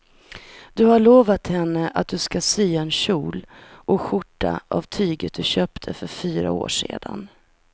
Du har lovat henne att du ska sy en kjol och skjorta av tyget du köpte för fyra år sedan.